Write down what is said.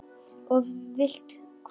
Og vilt hvað?